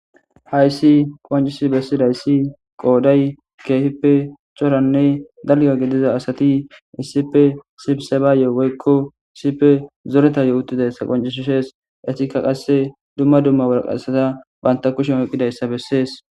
hayssi qoncisi bessidayssi qooday keefippe coranne dalya gidiza asati iisippe sibsebaaye woykko isipe zoretayo uttidayssa qoncisshees etikka qasse dumma dumma warqassata banta kushen oqidayssa bessees